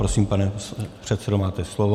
Prosím, pane předsedo, máte slovo.